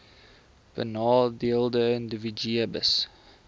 benadeelde individue hbis